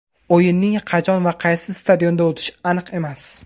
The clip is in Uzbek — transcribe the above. O‘yinning qachon va qaysi stadionda o‘tishi aniq emas.